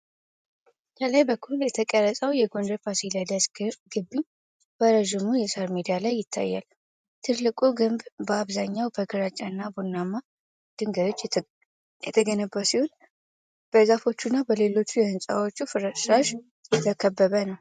ከላይ በኩል የተቀረጸው የጎንደር ፋሲለደስ ግቢ በረዥሙ የሳር ሜዳ ላይ ይታያል። ትልቁ ግንብ በአብዛኛው በግራጫና ቡናማ ድንጋዮች የተገነባ ሲሆን፤ በዛፎች እና በሌሎች የሕንፃዎች ፍርስራሾች የተከበበ ነው።